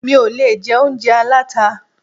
Mi ò lè jẹ oúnjẹ aláta.